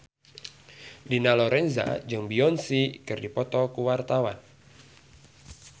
Dina Lorenza jeung Beyonce keur dipoto ku wartawan